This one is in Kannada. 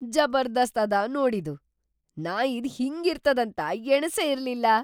ಜಬರ್ದಸ್ತ್‌ ಅದ ನೋಡ್‌ ಇದು! ನಾ ಇದ್‌ ಹಿಂಗಿರ್ತದಂತ ಎಣಸೇ ಇರ್ಲಿಲ್ಲ!